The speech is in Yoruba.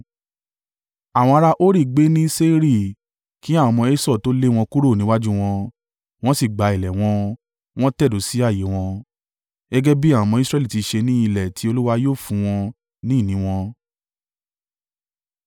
Àwọn ará Hori gbé ní Seiri, kí àwọn ọmọ Esau tó lé wọn kúrò níwájú wọn. Wọ́n sì gba ilẹ̀ wọn, wọ́n tẹ̀dó sí ààyè wọn gẹ́gẹ́ bí àwọn ọmọ Israẹli tí ṣe ní ilẹ̀ tí Olúwa yóò fún wọn ní ìní wọn.)